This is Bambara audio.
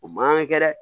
O man kan ka kɛ dɛ